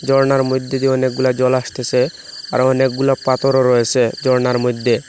ঝর্নার মইধ্যে দিয়ে অনেকগুলা জল আসতেসে আরও অনেকগুলা পাথরও রয়েসে ঝর্নার মইধ্যে।